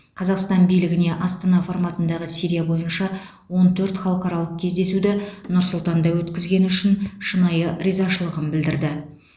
қазақстан билігіне астана форматындағы сирия бойынша он төрт халықаралық кездесуді нұр сұлтанда өткізгені үшін шынайы ризашылығын білдірді